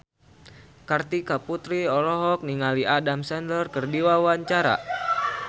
Kartika Putri olohok ningali Adam Sandler keur diwawancara